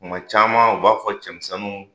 Kuma caman u b'a fɔ cɛmisɛnnu